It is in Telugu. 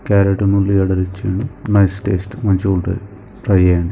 క్యారట్ ఉల్లిగడ్డ తెచ్చిండు నైస్ టేస్ట్ మంచిగుంటది ట్రై చెయ్యండి.